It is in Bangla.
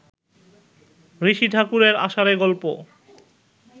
ঋষি ঠাকুরের আষাঢ়ে গল্প